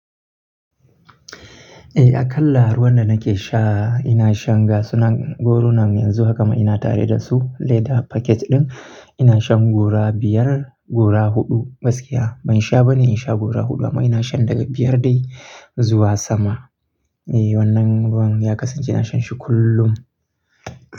Eh, a kan laa ruwan da nake sha ina shan gasunan gorunan yanzu haka ma ina tare da su. Leda paket ɗin ina shan gora biyar, gora huɗu gaskiya. Ban sha bane in sha gora huɗu amma ina shan daga biyar dai zuwa sama. Eh, wannan ruwan ya kasance ina shan shi kullum.